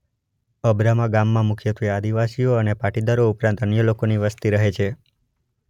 અબ્રામા ગામમાં મુખ્યત્વે આદિવાસીઓ અને પાટીદારો ઉપરાંત અન્ય લોકોની વસ્તી રહે છે.